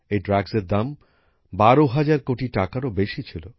এই মাদকের দাম ১২০০০ কোটি টাকারও বেশি ছিল